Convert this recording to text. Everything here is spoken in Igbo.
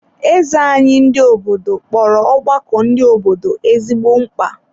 Eze anyị ndị obodo kpọrọ ọgbakọ ndị obodo ezigbo mkpa.